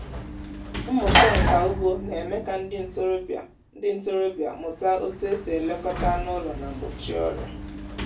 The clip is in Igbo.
mmụta nka ugbo na-eme ka ndị ntorobịa ndị ntorobịa mụta otú e si elekọta anụ ụlọ na gbochie ọrịa